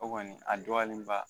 O kɔni a dɔyalen ba